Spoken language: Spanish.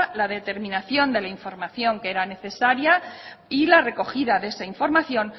la determinación de la información que era necesaria y la recogida de esa información